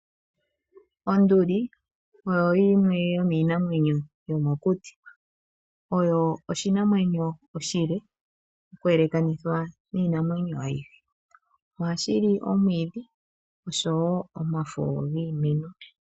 Onduli oyo yimwe yomiinamwenyo yomokuti, oyo oshinamwenyo oshile okuyelekanithwa niinamwenyo yilwe. Ohashi li omwiidhi osho wo omafo giimeno.